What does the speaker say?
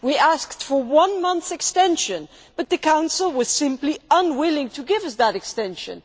We asked for one month's extension, but the Council was simply unwilling to give us that extension